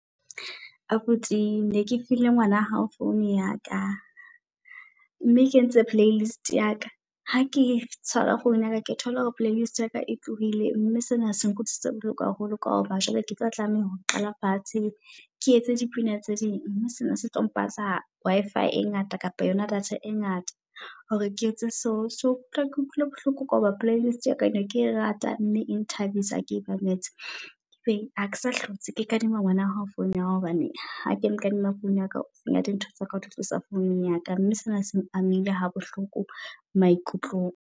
Abuti ne ke file ngwana hao founu ya ka, mme e kentse playlist ya ka. Ha ke tshwara founu ya ka ke thole hore playlist ya ka e tlohile mme sena se nkutlwisitse bohloko haholo. Ka hoba jwale ke tlo tlameha ho qala fatshe ke etse dipina tse ding. Sena se tlo mpatla Wi-Fi e ngata kapa yona data e ngata hore ke etse. So so ke utlwile bohloko ka hoba playlist ya ka neke rata mme ene e nthabisa hake e mametse. Hakesa hlotse ke kadima ngwana hao founu ya hao hobane ha ke mo kadima founu ya ka. O senya di ntho tsa ka o di tlosa founung ya ka mme sena seng amile ha bohloko maikutlong.